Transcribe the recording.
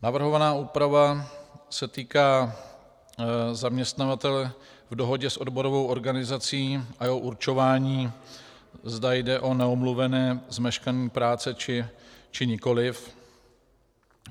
Navrhovaná úprava se týká zaměstnavatele v dohodě s odborovou organizací a jeho určování, zda jde o neomluvené zmeškání práce, či nikoliv.